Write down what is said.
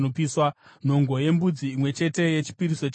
nhongo yembudzi imwe chete yechipiriso chechivi;